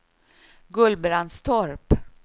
Gullbrandstorp